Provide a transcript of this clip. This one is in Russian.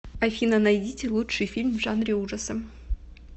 афина найдите лучший фильм в жанре ужасы